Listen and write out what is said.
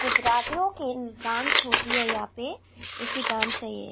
गुजरातियों की डांस होती है यहां पे ऐसी डांस है ये।